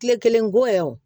Kile kelen ko yɛrɛ wo